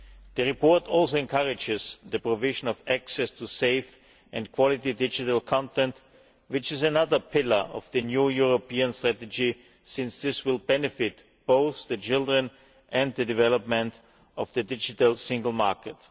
The report also encourages the provision of access to safe and quality digital content, which is another pillar of the new European strategy, since this will benefit both children and the development of the digital single market.